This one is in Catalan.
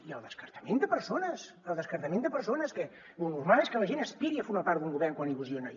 i el descartament de persones el descartament de persones que lo normal és que la gent aspiri a formar part d’un govern quan il·lusiona